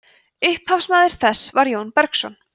upphafsmaður þess var jón bergsson